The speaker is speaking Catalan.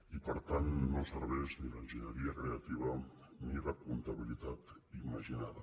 i per tant no serveix ni l’enginyeria creativa ni la comptabilitat imaginada